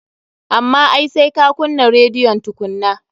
Amma ai sai ka kunnan rediyon tukunnan.